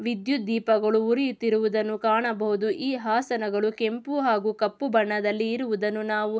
ವಿದ್ಯುತ್ ದೀಪಗಳು ಉರಿಯುತ್ತಿರುವುದನ್ನು ಕಾಣಬಹುದು ಈ ಹಾಸನಗಳು ಕೆಂಪು ಹಾಗು ಕಪ್ಪು ಬಣ್ಣದಲ್ಲಿ ಇರುವುದನ್ನು ನಾವು--